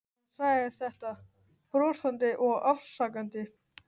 Hún sagði þetta brosandi og afsakandi.